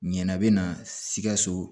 Ɲanabana sikaso